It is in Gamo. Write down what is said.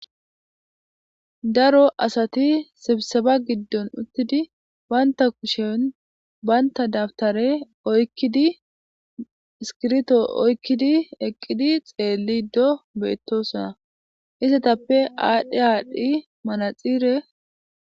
Daro asati sebiseba giddon uttidi banta kushen banta dabtare oykkidi iskirto oykkidi eqqidi xeellido beettosona. Izatetappe aadhdhe aadhdhi manaxire..